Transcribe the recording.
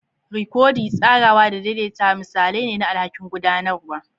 Rikodi, tsarawa, da daidaitawa misalai ne na alhakin gudanarwa.